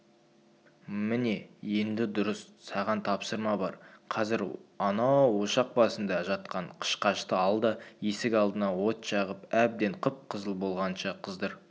міне енді дұрыс саған тапсырма бар қазір анау ошақ басында жатқан қышқашты ал да есік алдына от жағып әбден қып-қызыл болғанынша қыздыр